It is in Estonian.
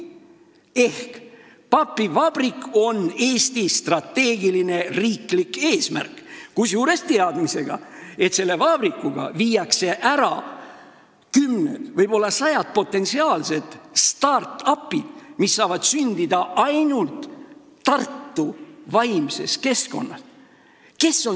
Ehk papivabrik on Eesti strateegiline riiklik eesmärk, kusjuures on teada, et selle vabrikuga välistataks kümned, võib-olla sajad potentsiaalsed start-up'id, mis saavad sündida ainult Tartu vaimses keskkonnas.